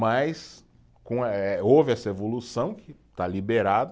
Mas com eh, houve essa evolução que está liberado.